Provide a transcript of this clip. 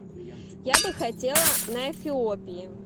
я бы хотела на эфиопии